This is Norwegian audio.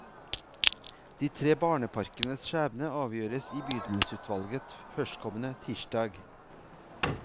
De tre barneparkenes skjebne avgjøres i bydelsutvalget førstkommende tirsdag.